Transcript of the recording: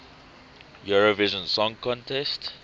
eurovision song contest